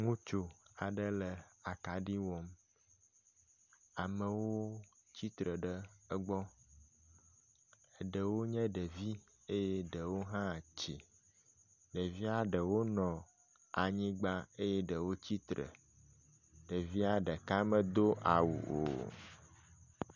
Ŋutsu aɖe le akaɖi wɔm. Amewo tsitre ɖe egbɔ. Ɖewonye ɖevi eye ɖewo hã tsi. Ɖevia ɖewo nɔ anyigba eye ɖewo tsitre. Ɖevia ɖeka medo awu o.